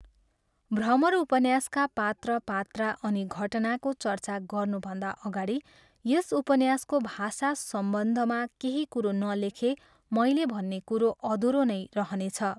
भ्रमर उपन्यासका पात्र पात्रा अनि घटनाको चर्चा गर्नुभन्दा अगाडि यस उपन्यासको भाषा सम्बन्धमा केही कुरो नलेखे मैले भन्ने कुरो अधुरो नै रहनेछ।